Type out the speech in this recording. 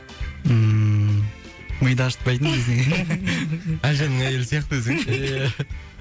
ммм миды ашытпайтын десең әлжанның әйелі сияқты өзі ия